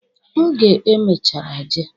Oge o mechara jee.